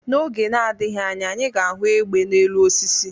N'oge adịghị anya anyị ga ahụ egbe na-elu osisi